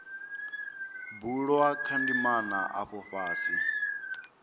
bulwa kha ndimana afha fhasi